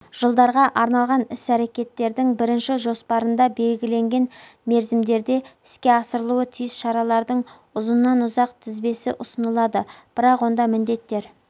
жылдарға арналған іс-рекеттердің бірінші жоспарында белгіленген мерзімдерде іске асырылуы тиіс шаралардың ұзынан-ұзақ тізбесі ұсынылады бірақ онда міндеттер